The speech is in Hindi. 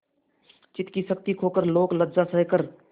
चित्त की शक्ति खोकर लोकलज्जा सहकर